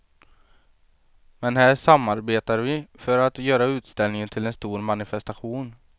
Men här samarbetar vi för att göra utställningen till en stor manifestation.